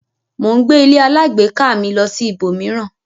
Mo ń gbé ílé alágbèéká mi lọ sí ibò mìíràn.